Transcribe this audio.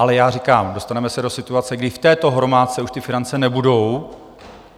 Ale já říkám, dostaneme se do situace, kdy v této hromádce už ty finance nebudou.